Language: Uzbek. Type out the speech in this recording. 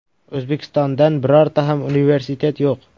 O‘zbekistondan birorta ham universitet yo‘q.